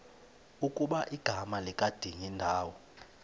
ukuba igama likadingindawo